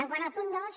quant al punt dos